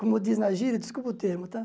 Como diz na gíria, desculpa o termo, tá?